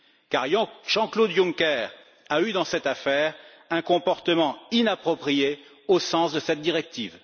Car Jean Claude Juncker a eu dans cette affaire un comportement inapproprié au sens de cette directive.